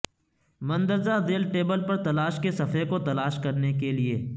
مندرجہ ذیل ٹیبل پر تلاش کے صفحے کو تلاش کرنے کے لئے